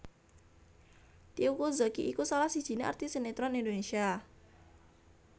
Teuku Zacky iku salah sijiné artis sineron Indonesia